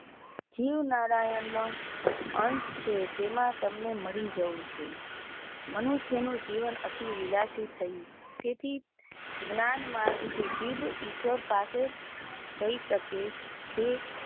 જીવ નારાયણ અંશ છે તેમાં તમ ને મળી જવું છે. મનુષ્ય નું જીવન અતિ વિલાસી થયું તેથી ધ્યાન માર્ગ થી જીવ ઈશ્વર પાસે શકે,